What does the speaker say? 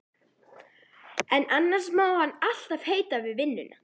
En annars má hann alltaf heita við vinnuna.